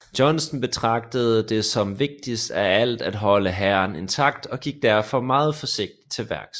Johnston betragtede det som vigtigst af alt at holde hæren intakt og gik derfor meget forsigtigt til værks